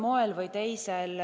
Kolm minutit.